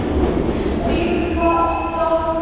Næst þegar ég datt í það var ég orðinn stjarna.